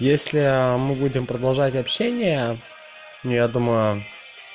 если мы будем продолжать общение я думаю